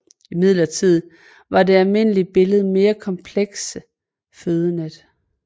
Imidlertid er det almindelige billede mere komplekse fødenet